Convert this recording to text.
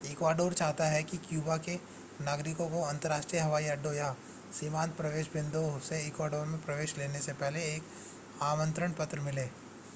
Ecuador चाहता है कि क्यूबा के नागरिकों को अंतर्राष्ट्रीय हवाई अड्डों या सीमांत प्रवेश बिंदुओं से इक्वाडोर में प्रवेश करने से पहले एक आमंत्रण पत्र मिले